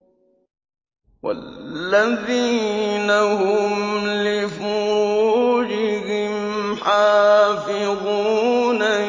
وَالَّذِينَ هُمْ لِفُرُوجِهِمْ حَافِظُونَ